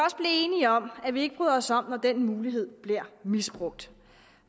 enige om at vi ikke bryder os om at den mulighed bliver misbrugt